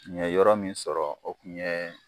N ye yɔrɔ min sɔrɔ o kun ye